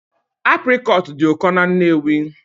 Aprịcot dị ụkọ na Nnewi